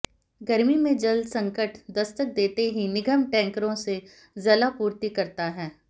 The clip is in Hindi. गर्मी में जलसंकट दस्तक देते ही निगम टैंकरों से जलापूर्ति करता है